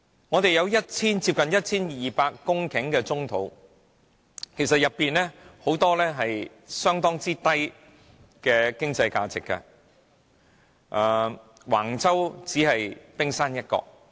我們有接近 1,200 公頃的棕地，當中很多經濟價值很低，橫洲只是冰山一角。